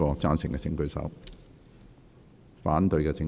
贊成的請舉手。